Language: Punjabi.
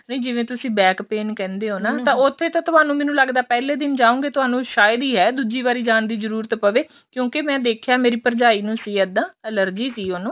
ਨਹੀਂ ਜਿਵੇਂ ਤੁਸੀਂ back pain ਕਹਿੰਦੇ ਹੋ ਨਾ ਤਾਂ ਉੱਥੇ ਤਾ ਤੁਹਾਨੂੰ ਮੈਂਨੂੰ ਲੱਗਦਾ ਪਹਿਲੇ ਦਿਨ ਜਾਓਗੇ ਤੁਹਾਨੂੰ ਸ਼ਾਇਦ ਈ ਆ ਦੁੱਜੀ ਵਾਰੀ ਜਾਣ ਦੀ ਜਰੂਰਤ ਪਵੇ